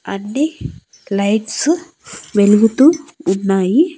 అన్ని లైట్సు వెలుగుతూ ఉన్నాయి.